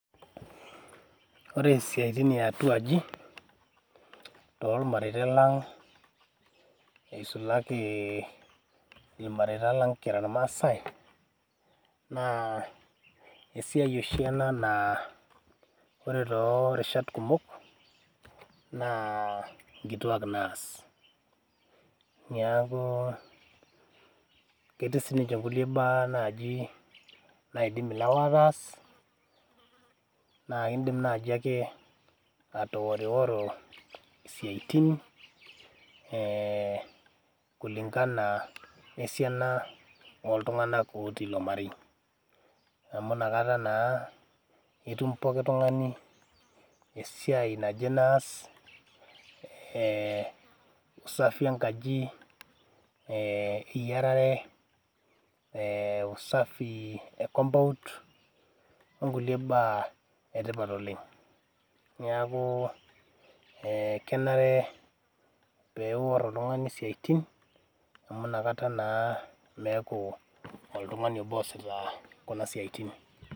Ore siatin eatua aji , tormareita lang , eisulaki irmareita lang kira irmaasae naa esiai oshi ena naa ore toorishat kumok naa nkituak naas . Niaku ketii siniche kulie baa naji naidim ilewa ataas naa indim naji ake atoorioro siatin ee kulingana esiana oltunganak otii ilo marei , amu inakata naa etum pooki tungani esiai naje naas ee usafi enkaji ee eyierare , ee usafi ecompund onkulie baa etipat oleng .Niaku kenare ee peiwor oltungani isiatin amu inakata naa meaku oltungani obo oosita kuna siatin .